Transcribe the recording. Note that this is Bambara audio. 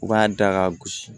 U b'a da ka gosi